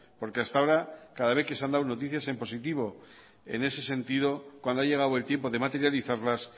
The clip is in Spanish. porque hasta ahora cada vez que se han dado noticias en positivo en ese sentido cuando ha llegado el tiempo de materializarlas